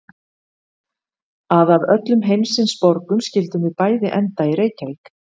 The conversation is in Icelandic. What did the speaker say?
Að af öllum heimsins borgum skyldum við bæði enda í Reykjavík.